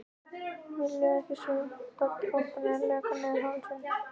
Vilja ekki sjá svitadropana leka niður hálsinn.